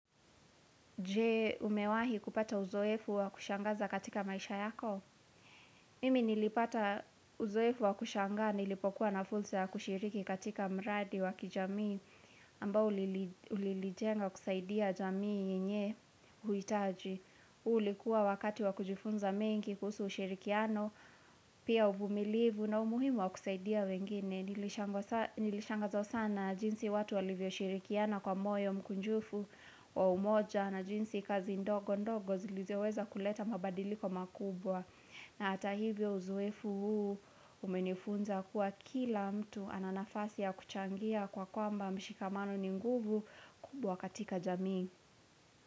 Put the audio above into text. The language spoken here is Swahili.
Je umewahi kupata uzoefu wa kushangaza katika maisha yako. Mimi nilipata uzoefu wa kushangaa nilipokuwa na fursa ya kushiriki katika mradi wa kijamii ambao ulilijenga kusaidia jamii yenye huitaji. Ulikuwa wakati wa kujifunza mengi kusu ushirikiano, pia uvumilivu na umuhimu wa kusaidia wengine. Nilishangazwa sana jinsi watu walivyo shirikiana kwa moyo mkunjufu wa umoja na jinsi kazi ndogo ndogo zilizeweza kuleta mabadiliko makubwa na hata hivyo uzoefu huu umenifunza kuwa kila mtu ana nafasi ya kuchangia kwa kwamba mshikamano ni nguvu kubwa katika jamii.